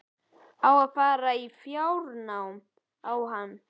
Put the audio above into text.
Á að fara í fjárnám á hann?